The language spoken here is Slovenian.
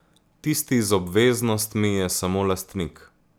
Tisti z obveznostmi je samo lastnik.